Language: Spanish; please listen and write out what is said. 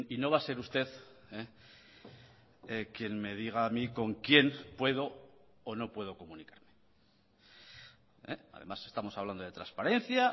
no va a ser usted quien me diga a mí con quién puedo o no puedo comunicarme además estamos hablando de transparencia